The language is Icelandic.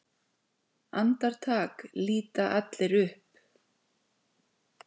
Andartak líta allir upp.